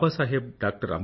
బాబాసాహెబ్ డా